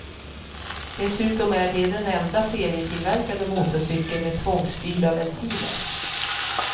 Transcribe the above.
Dessutom är det den enda serietillverkade motorcykeln med tvångsstyrda ventiler.